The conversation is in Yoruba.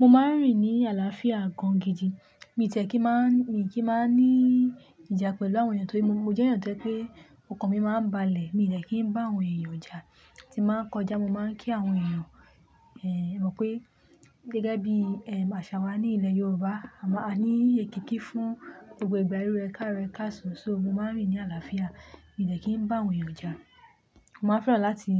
Mo máa ń rìn ní àlàáfíà gan gidi. Mi tie kí máa, mi kì í máa ní ìjà pẹ̀lú àwọn èèyàn torí mo jẹ́ èèyàn tó je pé òkàn mi máa ń balẹ̀. Mi dẹ̀ kí ń bá àwọn èèyàn jà, tí ba ń kọjá, mo máa ń kí àwọn èèyàn, ẹ mọ̀ pé gẹ́gẹ́ bí, ẹm, àṣà wa ní ilẹ̀ Yorùbá, àmáa, a ní èkíkí fún gbogbo ìgbà irú ẹkaro, ekasan So mo máa ń rìn ní àlàáfíà, mi dẹ̀ kí ń bá àwọn èèyàn jà. Mo máa fẹ́ràn láti,